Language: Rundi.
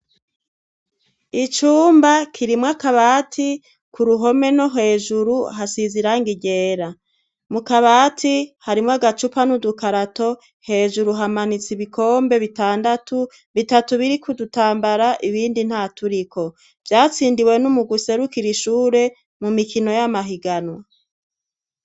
Icumba kirimwo akabati ku ruhome no hejuru hasize iranga ryera, mu kabati harimwo agacupa n'udukarato hejuru hamanitse ibikombe bitandatu bitatu biri kudutambara ibindi nta turiko, vyatsindiwe n' umugwi userukira ishure mu mikino y'amahiganwa.